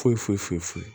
Foyi foyi foyi foyi